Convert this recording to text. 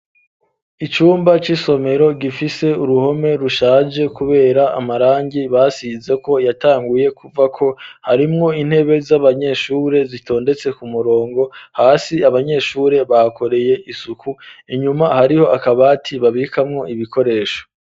Icumba ,c'isomero ,gifise uruhome rushaje, kubera amarangi basize ko yatanguye kuvako ,harimwo intebe z'abanyeshuri zitondetse ku murongo ,hasi abanyeshuri bakoreye isuku ,inyuma hariho akabati babikamwo ibikoresho.